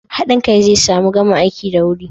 Hadin kai zai sa mu gama aiki da wuri